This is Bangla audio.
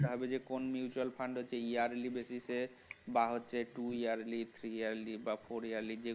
তোকে আগে দেখতে হবে যে কোন mutual fund yearly basis এ বা হচ্ছে একটু two yearly বা three yearly